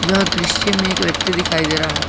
यह दृश्य में एक व्यक्ति दिखाई दे रहा है।